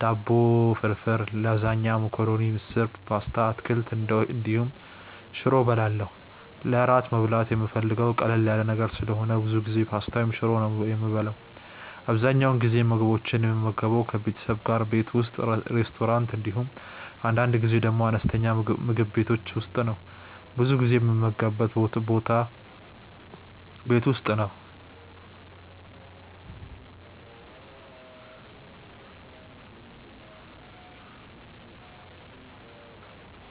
ዳቦ ፍርፍር፣ ላዛኛ፣ መኮረኒ፣ ምስር፣ ፓስታ በአትክልት እንዲሁም ሽሮ እበላለሁ። ለእራት መብላት የምፈልገው ቀለል ያለ ነገር ስለሆነ ብዙ ጊዜ ፓስታ ወይም ሽሮ ነው የምበላው። አብዛኛውን ጊዜ እነዚህን ምግቦች የምመገበው ከቤተሰቤ ጋር ቤት ውስጥ፣ ሬስቶራንት እንዲሁም አንዳንድ ጊዜ ደግሞ አነስተኛ ምግብ ቤቶች ውስጥ ነው። ብዙ ጊዜ የምመገብበት ቦታ ቤት ውስጥ ነው።